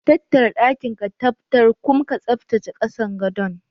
Tattara ɗakin ka tabbtar kum ka tsaftace kasan gadon.